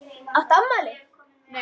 Áttu afmæli?